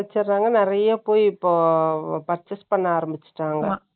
நிறைய போய், இப்போ purchase பண்ண ஆரம்பிச்சுட்டாங்க.